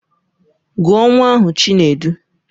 Gụọ nwa ahụ Chinedu!